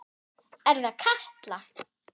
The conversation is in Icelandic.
Er það Katla?